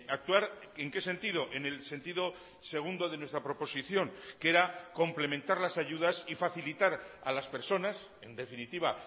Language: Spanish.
actuar en qué sentido en el sentido segundo de nuestra proposición que era complementar las ayudas y facilitar a las personas en definitiva